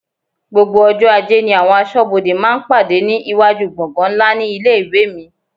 Gbogbo ọjọ́ ajé ni àwọn aṣọ́bodè máa ń pàdé ní iwájú gbọ̀ngan ńlá ní ilé-ìwé mi.